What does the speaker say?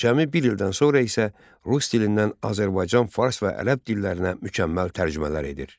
Cəmi bir ildən sonra isə rus dilindən Azərbaycan, fars və ərəb dillərinə mükəmməl tərcümələr edir.